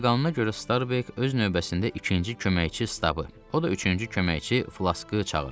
Qayda-qanuna görə Starbek öz növbəsində ikinci köməkçi Stabı, o da üçüncü köməkçi Flaskı çağırdı.